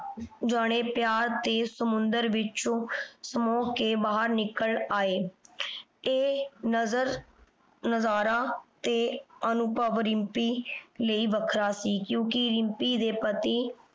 ਜਾਣੇ ਪਿਆਰ ਦੇ ਸਮੁੰਦਰ ਵਿਚੋਂ ਸਮੋਹ ਕੇ ਬਾਹਰ ਨਿੱਕਲ ਆਏ। ਇਹ ਨਜ਼ਰ ਨਜ਼ਾਰਾ ਤੇ ਅਨੁਭਵ ਰਿੰਪੀ ਲਈ ਵੱਖਰਾ ਸੀ। ਕਿਉਂਕਿ ਰਿੰਪੀ ਦੇ ਪਤੀ